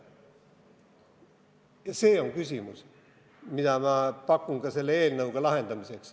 Ja see on küsimus, mille lahendamiseks ma ka selle eelnõu pakun.